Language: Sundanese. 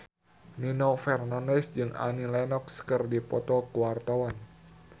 Nino Fernandez jeung Annie Lenox keur dipoto ku wartawan